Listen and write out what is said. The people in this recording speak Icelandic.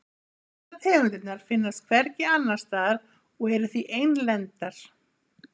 Flestar tegundirnar finnast hvergi annars staðar og eru því einlendar.